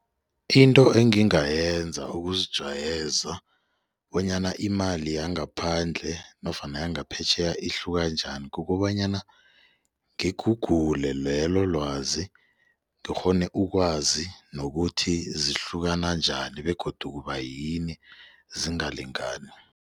Into engingayenza ukuzijayeza bonyana imali yangaphandle nofana yangaphetjheya ihluka njani kukobanyana ngi-Google lelo lwazi ngikghone ukwazi nokuthi zihlukana njani begodu kubayini zingalingani.